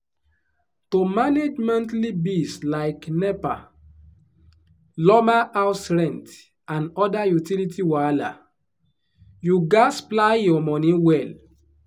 people wey dey enter motor for big cities like lagos dey pay from fifty naira up just to follow shared transport beat traffic wahala.